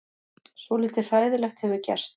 Svolítið hræðilegt hefur gerst.